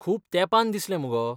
खूब तेंपान दिसलें मगो.